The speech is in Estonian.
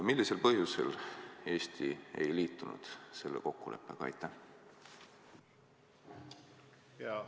Millisel põhjusel Eesti ei liitunud selle kokkuleppega?